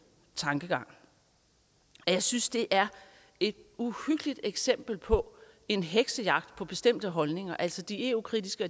tankegang jeg synes det er et uhyggeligt eksempel på en heksejagt på bestemte holdninger altså de eu kritiske